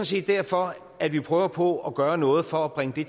set derfor at vi prøver på at gøre noget for at bringe det